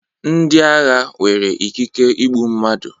Ndi agha nwere ikike igbu mmadụ